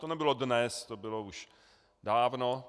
To nebylo dnes, to bylo už dávno.